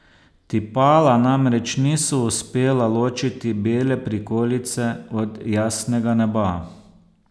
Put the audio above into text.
Tipala namreč niso uspela ločiti bele prikolice od jasnega neba.